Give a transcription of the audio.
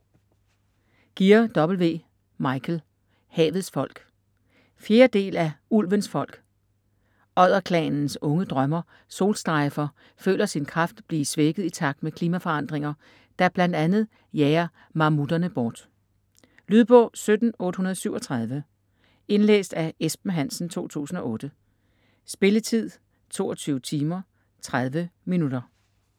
Gear, W. Michael: Havets folk 4. del af Ulvens folk. Odderklanens unge drømmer Solstrejfer føler sin kraft blive svækket i takt med klimaforandringer, der bl.a. jager mammutterne bort. Lydbog 17837 Indlæst af Esben Hansen, 2008. Spilletid: 22 timer, 30 minutter.